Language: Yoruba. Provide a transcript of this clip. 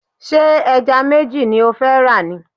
Ṣé ẹja méjì ni ó fẹ́ rà ni?